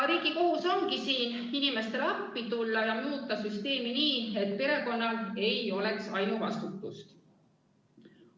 Riigi kohus ongi siin inimestele appi tulla ja muuta süsteemi nii, et perekonnal ei lasuks ainuvastutus.